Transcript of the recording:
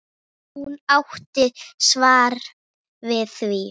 Hún átti svar við því.